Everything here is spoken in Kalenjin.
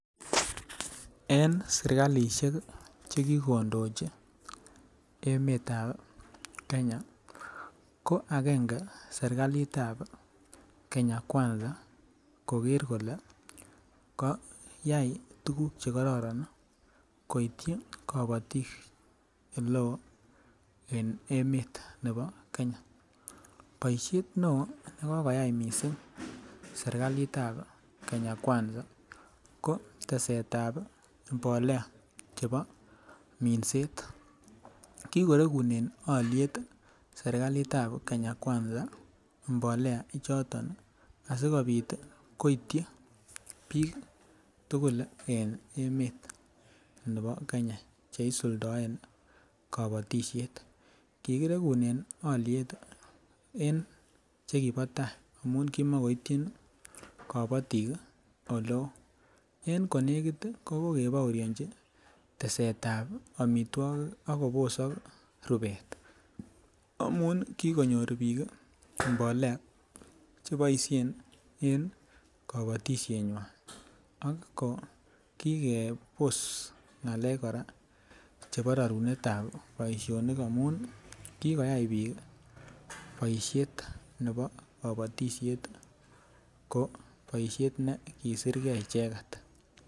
En sirkaishek chekikondochi emetab Kenya ko agenge sirkalitab Kenya kwanza koker kole kayai tukuk chekororon koityi kobotik eleo en emet nebo Kenya, boishet neo nekikoyai missing serkalitab Kenya kwanza ko tesetab mbolea chebo minset kikorekunen olliet sirkali tab Kenya kwanza mbolea ichito asikopit koityi bik tukuk en emet nebo Kenya cheisuldoen kobotishet . Kikorekunen olliet en chekibo tai amun kimokoityi kobotik kii ole. En konekit ki ko kokebooinchi tesetab omitwokik ak kobosok rubet amun kokonyor bik mbolea cheboishen en kobotishenywan ako kikebos ngalek Koraa chebo rorunetab boishonik amun nii kikoyai bik boishet nebo kobotishet koik boishet nekisirgee icheket.